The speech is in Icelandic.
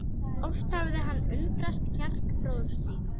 Oft hafði hann undrast kjark bróður síns.